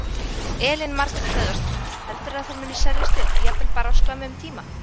Elín Margrét Böðvarsdóttir: Heldurðu að þær muni seljast upp, jafnvel bara á skömmum tíma?